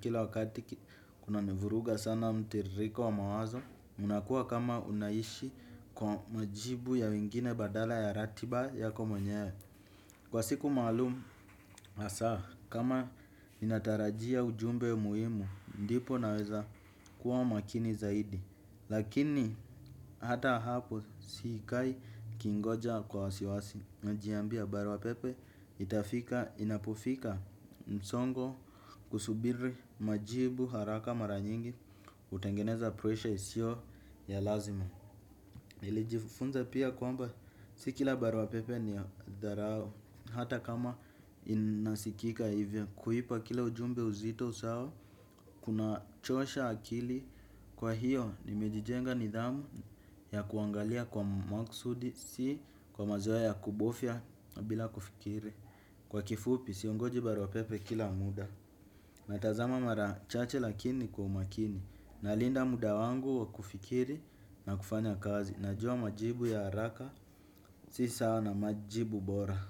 kila wakati kunanivuruga sana mtiririko wa mawazo. Unakua kama unaishi kwa majibu ya wengine badala ya ratiba yako mwenyewe. Kwa siku maalum hasa kama ninatarajia ujumbe muhimu ndipo naweza kuwa makini zaidi. Lakini hata hapo sikai nikingoja kwa wasiwasi. Najiambia barua pepe itafika inapofika msongo husubiri majibu haraka mara nyingi hutengeneza pressure isio ya lazima. Nilijifunza pia kwamba si kila barua pepe ni ya dharau hata kama inasikika hivyo kuipa kila ujumbe uzito sawa kunachosha akili kwa hiyo nimejijenga nidhamu ya kuangalia kwa makusudi si kwa mazoea ya kubofya bila kufikiri. Kwa kifupi, siongoji barua pepe kila muda. Natazama mara chache lakini kwa umakini. Nalinda muda wangu wa kufikiri na kufanya kazi. Najua majibu ya haraka, si sawa na majibu bora.